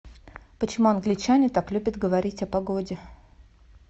почему англичане так любят говорить о погоде